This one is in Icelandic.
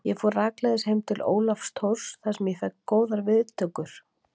Ég fór rakleiðis heim til Ólafs Thors þar sem ég fékk góðar og hlýjar viðtökur.